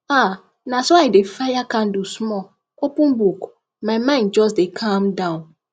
ah na so i dey fire candle small open book my mind just dey calm me down